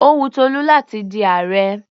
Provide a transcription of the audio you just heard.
Ó wun Tolú láti di ààrẹ.